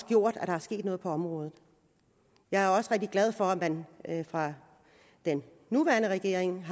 gjort at der er sket noget på området jeg er også rigtig glad for at man fra den nuværende regerings